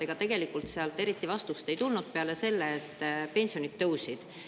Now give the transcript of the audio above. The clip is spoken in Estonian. Ega tegelikult sealt eriti vastust ei tulnud peale selle, et pensionid tõusid.